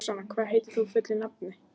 Roxanna, hvað heitir þú fullu nafni?